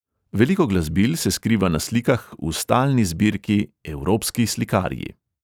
Veliko glasbil se skriva na slikah v stalni zbirki evropski slikarji.